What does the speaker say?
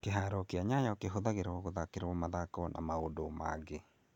Kĩhaaro kĩa Nyayo kĩhũthagĩrwo gũthakĩra mathako na maũndũ mangĩ.